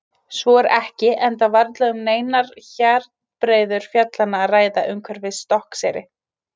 Svo er ekki enda varla um neinar hjarnbreiður fjallanna að ræða umhverfis Stokkseyri.